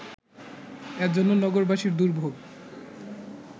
এজন্য নগরবাসীর দুর্ভোগ